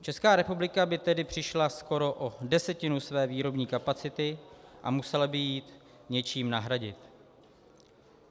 Česká republika by tedy přišla skoro o desetinu své výrobní kapacity a musela by ji něčím nahradit.